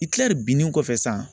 Itilɛri binnin kɔfɛ sisan